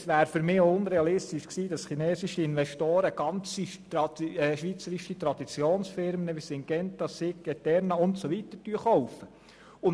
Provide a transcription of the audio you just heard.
Es war für mich auch unrealistisch, dass chinesische Investoren schweizerische Traditionsfirmen wie Syngenta, Sigg oder Eterna gänzlich aufkaufen würden.